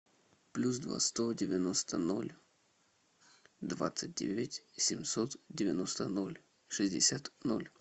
плюс два сто девяносто ноль двадцать девять семьсот девяносто ноль шестьдесят ноль